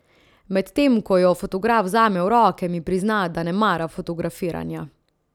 Medtem ko jo fotograf vzame v roke, mi prizna, da ne mara fotografiranja.